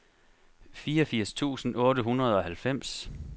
fireogfirs tusind otte hundrede og halvfems